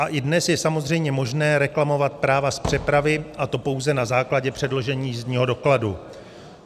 A i dnes je samozřejmě možné reklamovat práva z přepravy, a to pouze na základě předložení jízdního dokladu.